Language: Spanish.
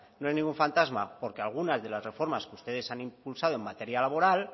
no es ningún fantasma porque algunas de las reformas que ustedes han impulsado en materia laboral